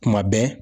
Kuma bɛɛ